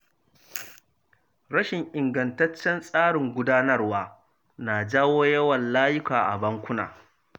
Rashin ingantaccen tsarin gudanarwa na jawo yawan layuka a bankuna.